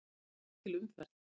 Það er mikil umferð.